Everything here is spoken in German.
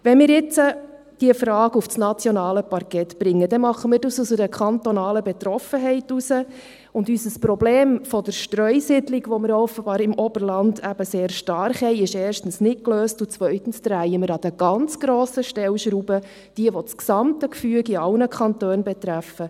Wenn wir diese Frage jetzt auf das nationale Parkett bringen, dann tun wir dies aus einer kantonalen Betroffenheit heraus, und unser Problem der Streusiedlung, die wir offenbar im Oberland eben sehr stark haben, ist erstens nicht gelöst und zweitens drehen wir an den ganz grossen Stellschrauben, die das gesamte Gefüge in allen Kantonen betrifft.